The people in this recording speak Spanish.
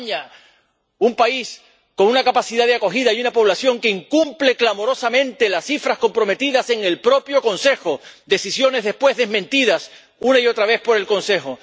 España, un país con capacidad de acogida, que incumple clamorosamente las cifras comprometidas en el propio Consejo, decisiones después desmentidas una y otra vez por el Consejo.